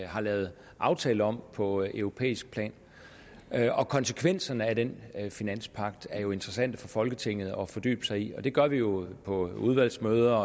har lavet aftale om på europæisk plan konsekvenserne af den finanspagt er jo interessante for folketinget at fordybe sig i det gør vi jo på udvalgsmøder